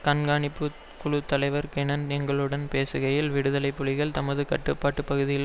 கண்காணிப்பு குழு தலைவர் கொனன் எங்களுடன் பேசுகையில் விடுதலை புலிகள் தமது கட்டுப்பாட்டு பகுதிக்குள்